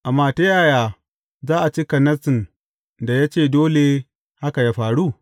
Amma ta yaya za a cika Nassin da ya ce dole haka yă faru?